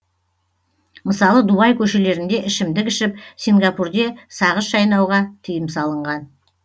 мысалы дубай көшелерінде ішімдік ішіп сингапурде сағыз шайнауға тыйым салынған